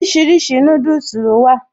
Oríṣiríṣi núdùsì ló wà